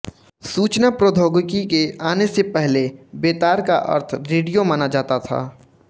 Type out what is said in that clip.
सूचना प्रौद्योगिकी के आने से पहले बेतार का अर्थ रेडियो माना जाता था